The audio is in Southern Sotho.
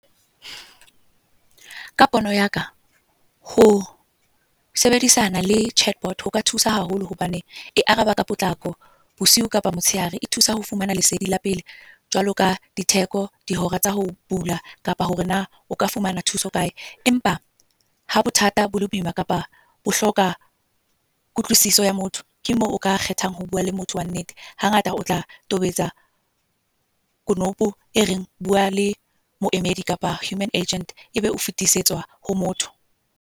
Ka pono yaka, ho sebedisana le chatbot hoka thusa haholo. Hobane, e araba ka potlako, bosiu kapa motshehare. E thusa ho fumana lesedi la pele. Jwalo ka ditheko, dihora tsa ho bula, kapa hore na oka fumana thuso kae. Empa ha bothata bo le boima kapa bo hloka kutlwisiso ya motho. Ke moo o ka kgethang ho bua le motho wa nnete. Hangata o tla tobetsa konopo e reng bua le moemedi kapa human agent, e be o fitisetswa ho motho.